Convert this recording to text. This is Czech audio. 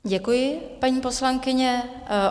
Děkuji, paní poslankyně.